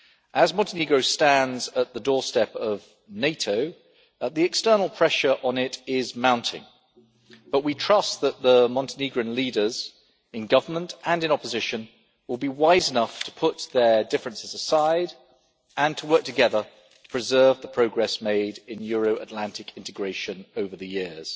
As Montenegro stands at the doorstep of NATO, the external pressure on it is mounting, but we trust that the Montenegrin leaders in government and in opposition will be wise enough to put their differences aside and to work together to preserve the progress made in Euro Atlantic integration over the years